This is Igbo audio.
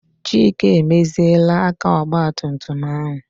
Chike emeziela aka ogbatumtum ahụ.